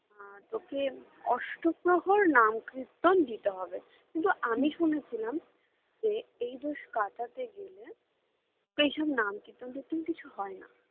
আর তোকে অষ্টপ্রহর নামকীর্তন দিতে হবে কিন্তু আমি শুনেছিলাম যে এই দোষ কাটাতে গেলে এইসব নামকীর্তন-টির্তন কিছু হয়না